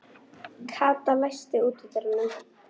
Kata, læstu útidyrunum.